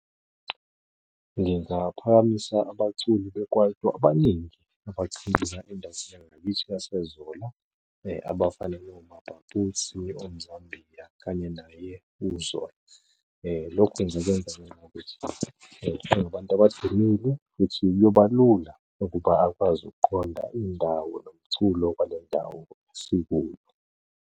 Ngingaphakamisa abaculi be-kwaito abaningi yangakithi yaseZola. Abafana noMapapusi, oMzambiya kanye naye uZola. Lokhu ngikwenza ngenxa yokuthi kunabantu abadumile futhi kuyoba lula ukuba akwazi ukuqonda indawo nomculo wale ndawo esikuyo.